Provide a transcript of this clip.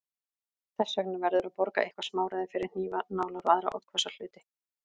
Þess vegna verður að borga eitthvert smáræði fyrir hnífa, nálar og aðra oddhvassa hluti.